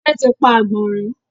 òde tí pá agbọnrin.